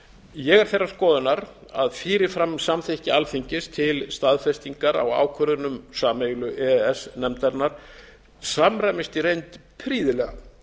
ég er þeirrar skoðunar að fyrir fram samþykki alþingis til staðfestingar á ákvörðunum sameiginlegu e e s nefnarinnar samræmist í reynd prýðilega